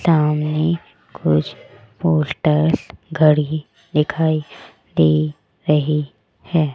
Town में कुछ poster घड़ी दिखाई दे रही है।